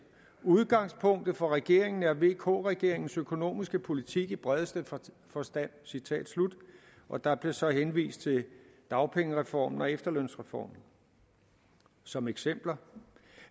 udgangspunktet for regeringen er vk regeringens økonomiske politik i bredeste forstand citat slut og der blev så henvist til dagpengereformen og efterlønsreformen som eksempler